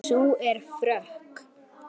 Sú er frökk!